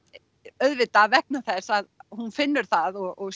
auðvitað vegna þess a hún finnur það og